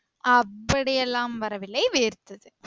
அப்படியேல்லாம் வரவில்லை வேர்த்தது